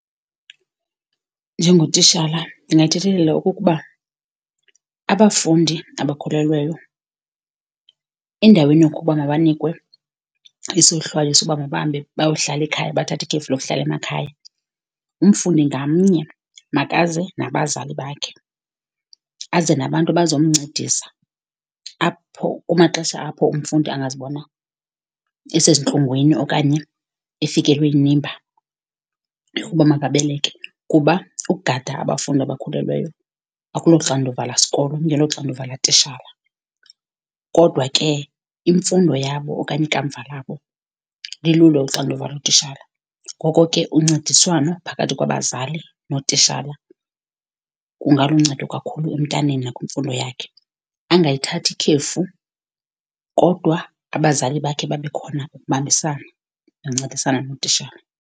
Njengotishala ndingathethelela okokuba abafundi abakhulelweyo, endaweni yokuba mabanikwe isohlwayo soba mabahambe bayohlala ekhaya, bathathe ikhefu lokuhlala emakhaya, umfundi ngamnye makaze nabazali bakhe, aze nabantu abazomncedisa apho, kumaxesha apho umfundi angazibona esezintlungwini okanye efikelwe yinimba yokuba makabeleke. Kuba ukugada abafundi abakhulelweyo akuloxanduva lasikolo, kungeloxanduva latitshala. Kodwa ke imfundo yabo okanye ikamva labo lilulo uxanduva lotitshala. Ngoko ke uncediswano phakathi kwabazali nootitshala kungaluncedo kakhulu emntaneni nakwimfundo yakhe. Angayithathi ikhefu kodwa abazali bakhe babe khona ukubambisana noncedisana notitshala.